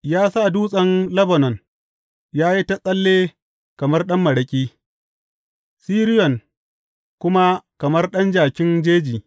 Ya sa dutsen Lebanon ya yi ta tsalle kamar ɗan maraƙi, Siriyon kuma kamar ɗan jakin jeji.